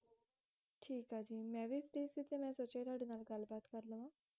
ਠੀਕ ਏ ਜੀ ਮੈ ਵੀ free ਸੀ ਤੇ ਮੈ ਸੋਚਿਆ ਤੁਹਾਡੇ ਨਾਲ ਗੱਲਬਾਤ ਕਰ ਲਵਾਂ